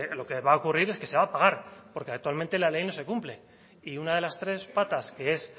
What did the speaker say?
lo que va a ocurrir es que se va a pagar porque actualmente la ley no se cumple y una de las tres patas que es